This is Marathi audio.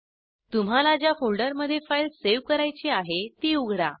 तुम्हाला ज्या फोल्डरमध्ये फाईल सेव्ह करायची आहे तो उघडा